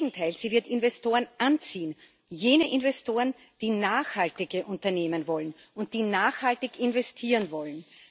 Im Gegenteil Sie wird Investoren anziehen, jene Investoren, die nachhaltige Unternehmen wollen und die nachhaltig investieren wollen.